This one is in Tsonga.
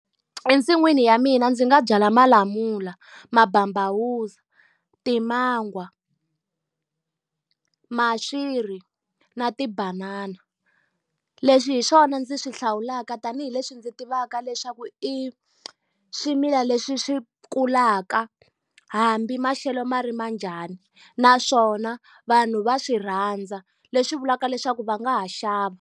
Ensin'wini ya mina ndzi nga byala malamula, mababawuzi, timangwa, maswiri na tibanana. Leswi hi swona ndzi swi hlawulaka ka tanihileswi ndzi tivaka leswaku i swimila leswi swi kulaka hambi maxelo ma rima njhani. Naswona vanhu va swi rhandza, leswi vulaka leswaku va nga ha xava.